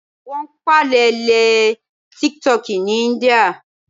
Wón pàlè lé tíkítọki ní íńdíà